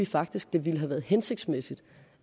faktisk det ville have været hensigtsmæssigt